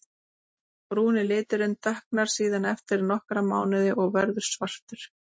Brúni liturinn dökknar síðan eftir nokkra mánuði og verður svartur.